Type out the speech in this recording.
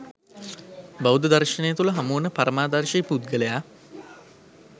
බෞද්ධ දර්ශනය තුළ හමුවන පරමාදර්ශී පුද්ගලයා